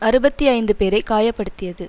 அறுபத்தி ஐந்து பேரை காய படுத்தியது